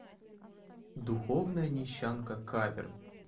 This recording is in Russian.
духовная нищанка кавер